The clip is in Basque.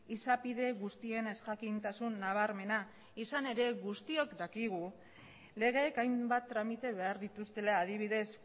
izapide guztien ezjakintasun nabarmena izan ere guztiok dakigu legeek hainbat tramite behar dituztela adibidez